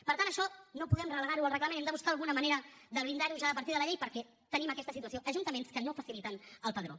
per tant això no podem relegar ho al reglament hem de buscar alguna manera de blindar ho ja a partir de la llei perquè tenim aquesta situació ajuntaments que no faciliten el padró